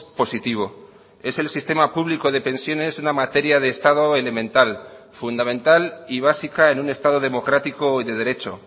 positivo es el sistema público de pensiones una materia de estado elemental fundamental y básica en un estado democrático y de derecho